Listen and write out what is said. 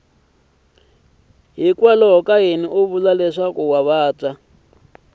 yini u vula leswaku i